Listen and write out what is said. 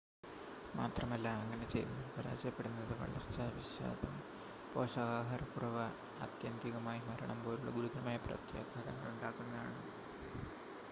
മാത്രമല്ല അങ്ങനെ ചെയ്യുന്നതിൽ പരാജയപ്പെടുന്നത് വളർച്ചാ വിഷാദം പോഷകാഹാരക്കുറവ് ആത്യന്തികമായി മരണം പോലുള്ള ഗുരുതരമായ പ്രത്യാഘാതങ്ങളുണ്ടാക്കുന്നുണ്ട്